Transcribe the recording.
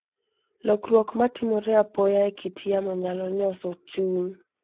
Lokruok ma timore apoya e kit yamo nyalo nyoso chuny.